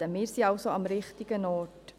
Wir sind somit am richtigen Ort.